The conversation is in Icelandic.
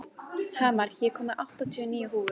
Hamar, ég kom með áttatíu og níu húfur!